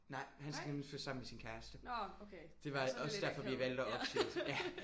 Nej han skal nemlig flytte sammen med sin kæreste. Det var også derfor vi valgte at opsige ja